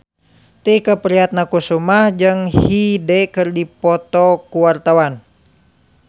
Tike Priatnakusuma jeung Hyde keur dipoto ku wartawan